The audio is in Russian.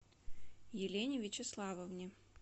елене вячеславовне